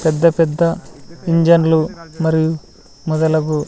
పెద్ద పెద్ద ఇంజన్లు మరియు మొదలగు--